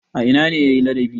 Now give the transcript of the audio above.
A ina ne ya yi ladabi?